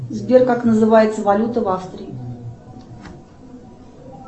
сбер как называется валюта в австрии